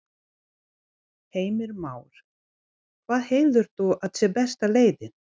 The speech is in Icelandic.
Heimir Már: Hvað heldur þú að sé besta leiðin?